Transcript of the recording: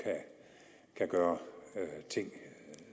kan gøre ting